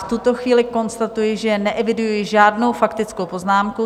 V tuto chvíli konstatuji, že neeviduji žádnou faktickou poznámku.